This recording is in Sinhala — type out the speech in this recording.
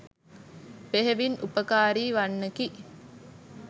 බෙහෙවින් උපකාරී වන්නකි.